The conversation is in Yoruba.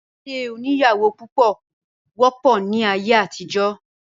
ìdílé oníyàwó púpọ̀ wọ́pọ̀ ní ayé àtijọ́